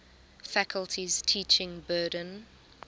faculty's teaching burden